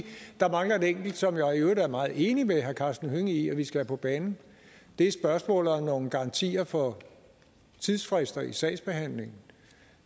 der mangler et enkelt som jeg i øvrigt er meget enig med herre karsten hønge i at vi skal have på banen det er spørgsmålet om nogle garantier for tidsfrister i sagsbehandlingen